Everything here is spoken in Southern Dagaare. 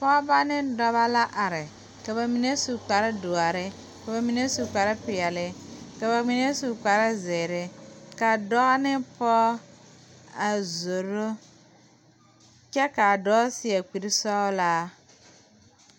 pɔgeba ne dɔbɔ la are ka ba mine su kpare doɔre ka ba mine su kpare peɛle ka ba mine su kpare zeere ka a dɔɔ ne pɔge a zoro kyɛ ka a dɔɔ seɛ kuri sɔglaa.